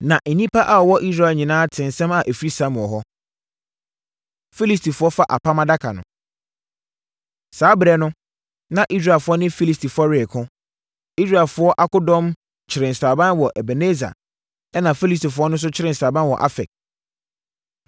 Na nnipa a wɔwɔ Israel nyinaa tee nsɛm a ɛfiri Samuel hɔ. Filistifoɔ Fa Apam Adaka No Saa ɛberɛ no, na Israelfoɔ ne Filistifoɔ reko. Israelfoɔ akodɔm kyeree sraban wɔ Ebeneser ɛnna Filistifoɔ nso kyeree sraban wɔ Afek.